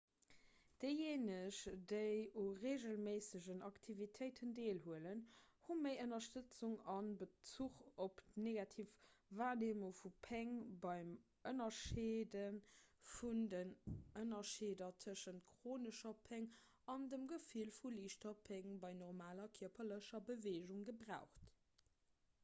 déijéineg déi u reegelméissegen aktivitéiten deelhuelen hu méi ënnerstëtzung a bezuch op d'negativ warneemung vu péng beim ënnerscheede vun den ënnerscheeder tëschent chronescher péng an dem gefill vu liichter péng bei normaler kierperlecher beweegung gebraucht